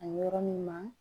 A yɔrɔ min ma